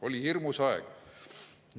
" Oli hirmus aeg.